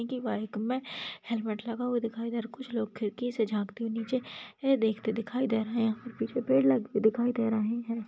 Inky bike में helmet लगा हुआ दिखाई इधर कुछ लोग खिड़की से जानते हो नीचे देखते दिखाई दे रहे है पिछे मे दिखाई दे रहे है। की--